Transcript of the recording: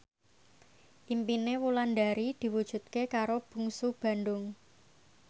impine Wulandari diwujudke karo Bungsu Bandung